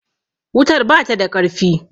wutar bata da ƙarfi